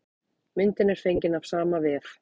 Myndin er fengin af sama vef.